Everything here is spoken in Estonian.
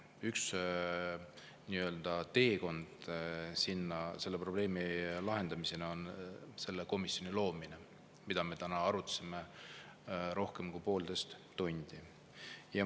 Üks teekond selle probleemi lahendamiseni on selle komisjoni loomine, mida me täna oleme arutanud rohkem kui poolteist tundi.